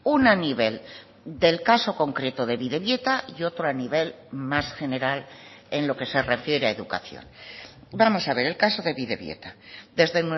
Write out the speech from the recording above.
una a nivel del caso concreto de bidebieta y otro a nivel más general en lo que se refiere a educación vamos a ver el caso de bidebieta desde